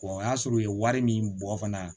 o y'a sɔrɔ u ye wari min bɔ fana